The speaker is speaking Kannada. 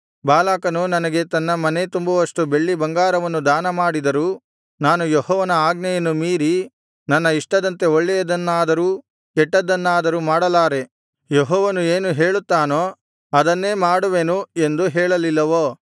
ಬಾಲಾಕನು ನನಗೆ ತನ್ನ ಮನೇ ತುಂಬುವಷ್ಟು ಬೆಳ್ಳಿಬಂಗಾರವನ್ನು ದಾನಮಾಡಿದರೂ ನಾನು ಯೆಹೋವನ ಆಜ್ಞೆಯನ್ನು ಮೀರಿ ನನ್ನ ಇಷ್ಟದಂತೆ ಒಳ್ಳೇಯದನ್ನಾದರೂ ಕೆಟ್ಟದ್ದನ್ನಾದರೂ ಮಾಡಲಾರೆ ಯೆಹೋವನು ಏನು ಹೇಳುತ್ತಾನೋ ಅದನ್ನೇ ಮಾತನಾಡುವೆನು ಎಂದು ಹೇಳಲಿಲ್ಲವೋ